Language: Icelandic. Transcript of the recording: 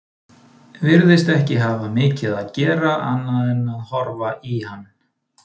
Virðist ekki hafa mikið að gera annað en að horfa í hann.